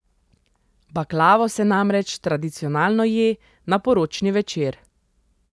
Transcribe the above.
Baklavo se namreč tradicionalno je na poročni večer.